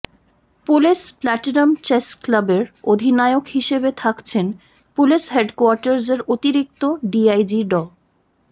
police platinum chess ক্লাবের অধিনায়ক হিসেবে থাকছেন পুলিশ হেডকোয়ার্টার্সের অতিরিক্ত ডিআইজি ড